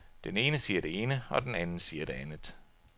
Den ene siger det ene, og den anden siger det andet.